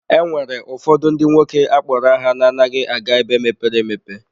E nwere ụfọdụ ndị nwoke akpọrọ aha na-anaghị aga ebe mepere emepe.